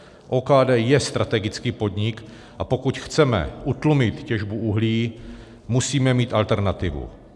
OKD je strategický podnik, a pokud chceme utlumit těžbu uhlí, musíme mít alternativu.